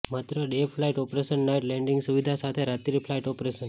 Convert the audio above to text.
માત્ર day flight operation night landing સુવિધા સાથે રાત્રિ ફ્લાઇટ ઓપરેશન